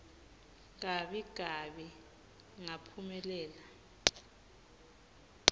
gabi gabi ngaphumelela